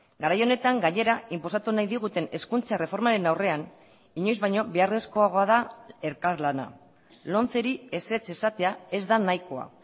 garai honetan gainera inposatu nahi diguten hezkuntza erreformaren aurrean inoiz baino beharrezkoagoa da elkarlana lomceri ezetz esatea ez da nahikoa